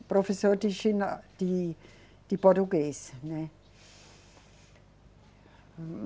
O professor de gina, de, de português, né